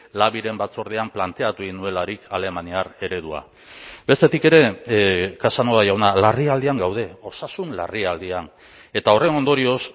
labiren batzordean planteatu egin nuelarik alemaniar eredua bestetik ere casanova jauna larrialdian gaude osasun larrialdian eta horren ondorioz